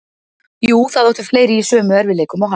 Jú, það áttu fleiri í sömu erfiðleikum og hann.